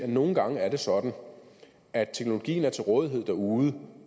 nogle gange er det sådan at teknologien er til rådighed derude